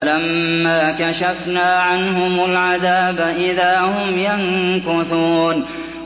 فَلَمَّا كَشَفْنَا عَنْهُمُ الْعَذَابَ إِذَا هُمْ يَنكُثُونَ